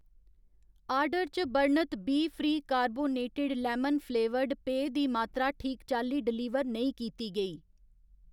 order च बर्णत बीफ्री कार्बोनेटेड लैमन फ्लेवर्ड पेय दी मात्तरा ठीक चाल्ली डलीवर नेईं कीती गेई